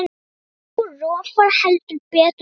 Nú rofar heldur betur til.